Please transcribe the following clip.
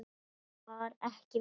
Friðrik var ekki viss.